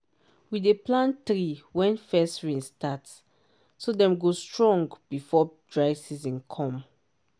we dey plant tree when first rain start so dem go strong before dry season come.